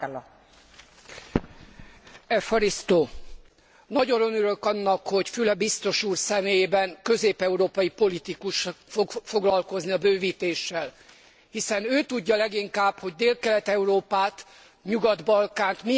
Nagyon örülök annak, hogy Füle biztos úr személyében közép európai politikus fog foglalkozni a bővítéssel, hiszen ő tudja leginkább, hogy Délkelet Európát, a Nyugat Balkánt milyen súlyos etnikai, etnikumközi konfliktusok,